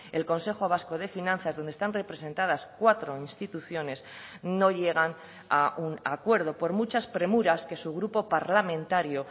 el consejo vasco de finanzas donde están representadas cuatro instituciones no llegan a un acuerdo por muchas premuras que su grupo parlamentario